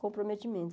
Comprometimento.